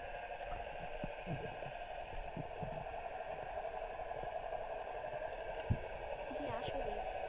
জি আসলেই